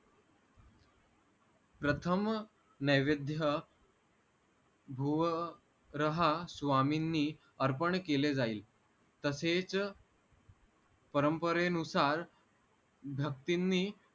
प्रथम नैवेध्य भुव रहा स्वामींनी अर्पण केले जाईल तसेच परंपरेनुसार धक्तींनी